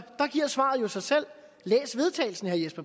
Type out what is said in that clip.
der giver svaret jo sig selv læs vedtagelsen